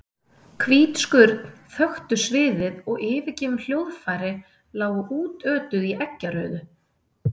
Hvít skurn þöktu sviðið og yfirgefin hljóðfæri lágu útötuð í eggjarauðu.